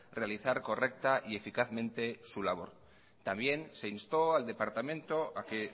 realizar correcta y eficazmente su labor también se instó al departamento a que